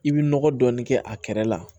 I bi nɔgɔ dɔɔnin kɛ a kɛrɛ la